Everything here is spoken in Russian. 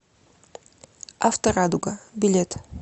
авторадуга билет